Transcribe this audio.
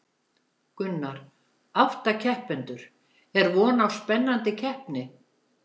Gunnar: Átta keppendur, er vona á spennandi keppni?